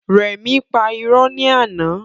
Rẹmi pà irọ́ ni àná